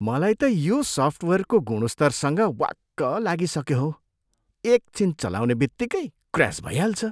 मलाई त यो सफ्टवेयरको गुणस्तरसँग वाक्क लागिसक्यो हौ। एकछिन चलाउने बित्तिकै क्र्यास भइहाल्छ।